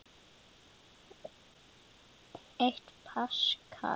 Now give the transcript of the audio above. Eitt paskal